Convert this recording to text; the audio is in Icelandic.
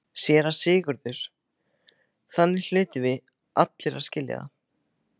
SÉRA SIGURÐUR: Þannig hlutum við allir að skilja það.